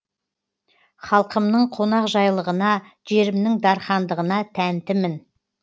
халқымның қонақжайлығына жерімнің дархандығына тәнтімін